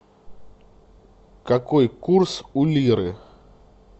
какой курс у лиры